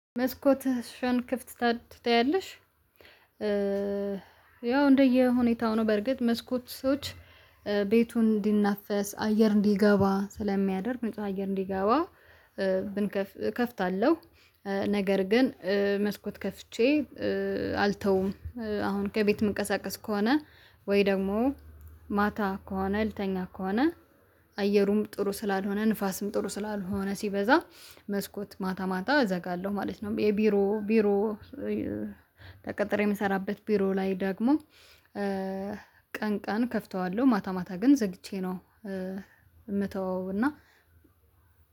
መስኮትሽን ክፍት ትታያለሽ? ያው እንደየሁኔታው ነው በርግጥ መስኮቶች ቤቱን እንዲናፈስ አየር እንዲገባ ስለሚያደርግ ንጹህ አየር እንዲገባ ብንከፍት እከፍታለሁ። ነገር ግን መስኮት ከፍቼ አልተውም አሁን ከቤት መንቀሳቀስ ከሆነ ወይ ደግሞ ማታ ከሆነ ልተኛ ከሆነ አየሩም ጥሩ ስላልሆነ ንፋስም ጥሩ ስላልሆነ ሲበዛ መስኮት ማታ ማታ እዘጋለሁ ማለት ነው። የቢሮ ቢሮ ተቀጠሬ የምሰራበት ቢሮ ላይ ደግሞ ቀን ቀን ከፍተዋለሁ ማታ ማታ ግን ዘግቼ ነው። የምተወው እና